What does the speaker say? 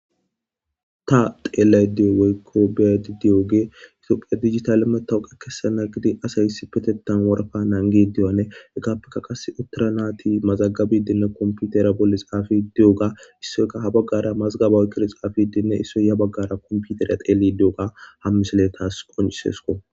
Ta xeellay diyo wey kobet di'oge itoophiya digitali metawuqe kesana gidi asay hissi petetan woraka naangi diyane eggappeka qas uttara naati mazagabidinne komputera bolli xafi di'oga issoyka ha baggara mazgaba uykkili xaafidinne issoy ya baggara komputera teelli di'oga hammisaletas qoncisesko